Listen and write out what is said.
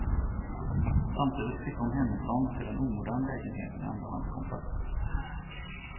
Samtidigt flyttar hon hemifrån till en omodern lägenhet med andrahandskontrakt.